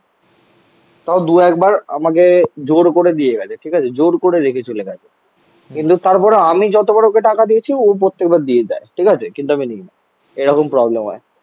তাও দু একবার আমাকে জোর করে দিয়ে গেছে. ঠিক আছে? জোর করে রেখে চলে গেছে কিন্তু তারপরে আমি যতবার ওকে টাকা দিয়েছি ও প্রত্যেকবার দিয়ে দেয়. ঠিক আছে. কিন্তু আমি নিই না এরকম প্রবলেম হয়